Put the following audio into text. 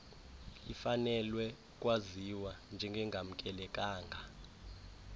ifanelwe ukwaziwa njengengamkelekanga